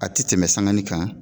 A tɛ tɛmɛ sangani kan.